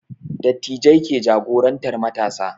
Dattijai ke jagorantar matasa